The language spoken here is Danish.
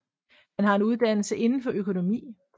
Han har en uddannelse indenfor økonomi